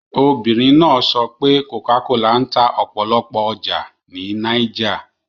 Obìnrin náà sọ pé Cocacola ń ta ọ̀pọ̀lọpọ̀ ọjà ní Niger